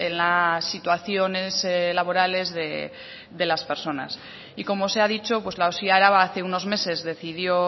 las situaciones laborales de las personas y como se ha dicho pues la osi araba hace unos meses decidió